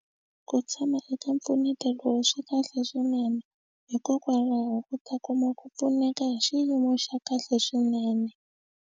Ku tshama eka mpfuneto lowu swi kahle swinene hikokwalaho u ta kuma ku pfuneka hi xiyimo xa kahle swinene.